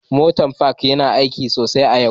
Motar Park yana aiki sosai a yau